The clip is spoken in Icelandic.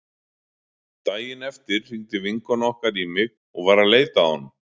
Daginn eftir hringdi vinkona okkar í mig og var að leita að honum.